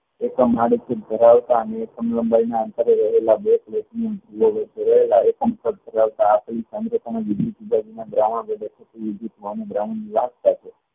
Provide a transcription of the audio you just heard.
એકમ ધરાવતા અને એકમ લંબાયી અંતરે રહેલા બે platinum